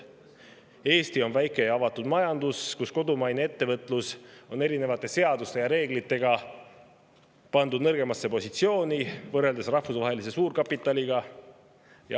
Eesti on väike ja avatud majandus, kus kodumaine ettevõtlus on erinevate seaduste ja reeglitega pandud nõrgemasse positsiooni, võrreldes rahvusvahelise suurkapitaliga.